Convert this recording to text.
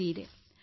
ವ್ಯಥೆಯಾಗಿದೆ